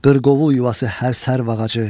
Qırqovul yuvası hər sərv ağacı.